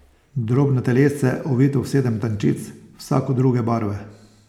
Drobno telesce, ovito v sedem tančic, vsako druge barve.